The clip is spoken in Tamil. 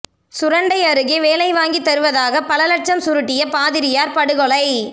சுரண்டை அருகே வேலை வாங்கித் தருவதாக பல லட்சம் சுருட்டிய பாதிரியார் படுகொலை